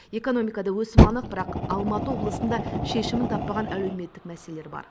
экономикада өсім анық бірақ алматы облысында шешімін таппаған әлеуметтік мәселелер бар